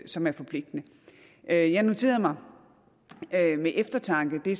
som er forpligtende jeg jeg noterede mig med eftertanke det